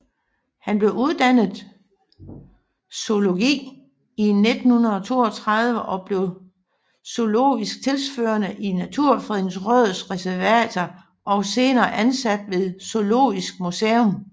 Han blev uddannet i zoologi i 1932 og blev zoologisk tilsynsførende i Naturfredningsrådets reservater og senere ansat ved Zoologisk Museum